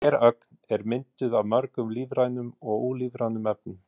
Hver ögn er mynduð af mörgum lífrænum og ólífrænum efnum.